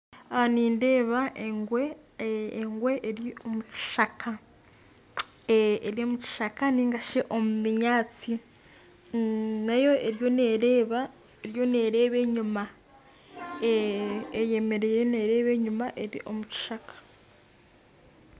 Aha nindeeba engwe engwe eri omu kishaka eri omu kishaka ningashi omu binyaatsi nayo eriyo nereeba eriyo nereeba enyima eyemereire nereeba enyima eri omu kishaka